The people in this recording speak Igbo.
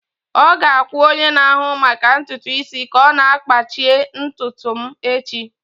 Ọ ga-akwụ onye na-ahụ maka ntutu isi ka ọ kpachie ntutu m echi.